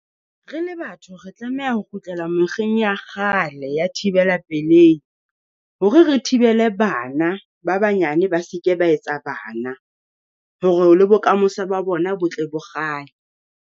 Re le batho re tlameha ho kgutlela mokgeng ya kgale ya thibela pelehi, hore re thibele bana ba banyane ba se ke ba etsa bana. Hore o le bokamoso ba bona botle bo kgale.